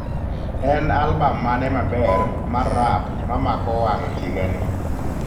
En albam mane maber mar rap ma mako wang' higani